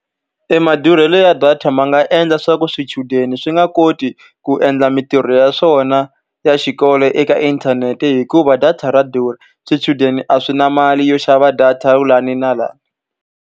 E madurhelo ya data ma nga endla leswaku swichudeni swi nga koti ku endla mintirho ya swona ya xikolo eka inthanete, hikuva data ra durha. Swichudeni a swi na mali yo xava data laha na laha.